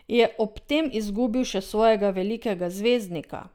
Je ob tem izgubil še svojega velikega zvezdnika?